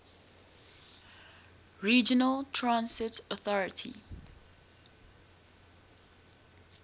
regional transit authority